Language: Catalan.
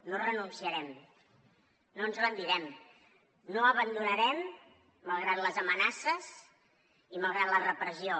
no renunciarem no ens rendirem no abandonarem malgrat les amenaces i malgrat la repressió